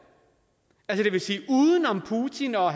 er i rusland det vil sige uden om putin og